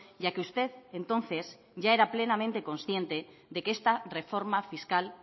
ya que usted entonces ya era plenamente consciente de que esta reforma fiscal